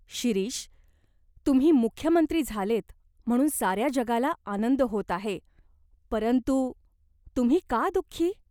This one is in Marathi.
"शिरीष, तुम्ही मुख्य मंत्री झालेत म्हणून साऱ्या जगाला आनंद होत आहे. परंतु तुम्ही का दुख्खी ?